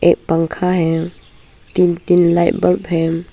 एक पंखा है तीन तीन लाइट बल्ब है।